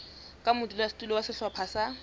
ka modulasetulo wa sehlopha sa